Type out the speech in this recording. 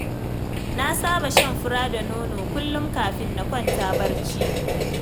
Na saba shan fura da nono kullum kafin na kwanta barci.